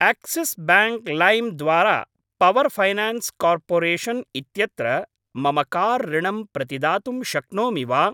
Axis bank लैम् द्वारा power finance corporation इत्यत्र मम कार् ऋणम् प्रतिदातुं शक्नोमि वा?